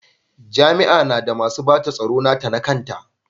Jami'a na da masu bata tsaro nata na kanta.